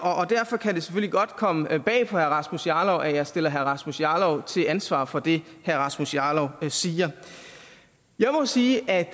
derfor kan det selvfølgelig godt komme bag på herre rasmus jarlov at jeg stiller herre rasmus jarlov til ansvar for det herre rasmus jarlov siger jeg må sige at